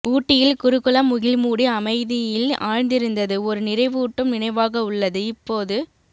ஊட்டியில் குருகுலம் முகில்மூடி அமைதியில் ஆழ்ந்திருந்தது ஒரு நிறைவூட்டும் நினைவாக உள்ளது இப்போது